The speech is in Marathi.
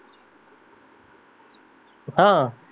हा